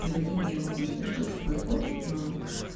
при вадиме я могу себе что-то позволить но